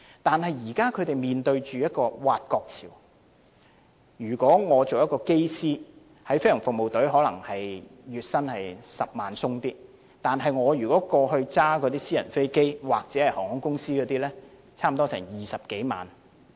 但是，飛行務服隊現正面對挖角潮，如果我是一位機師，在飛行服務隊工作，月薪剛好超過10萬元；如駕駛私人飛機或在航空公司工作，月薪便有20多萬元。